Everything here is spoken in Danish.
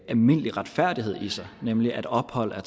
almindelig retfærdighed i sig nemlig at ophold er